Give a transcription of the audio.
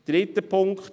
Dritter Punkt: